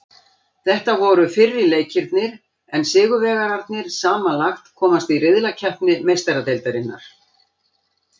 Þetta voru fyrri leikirnir en sigurvegararnir samanlagt komast í riðlakeppni Meistaradeildarinnar.